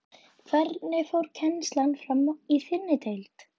Hvernig fór kennslan fram í þinni deild?